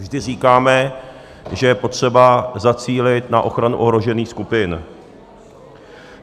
Vždy říkáme, že je potřeba zacílit na ochranu ohrožených skupin.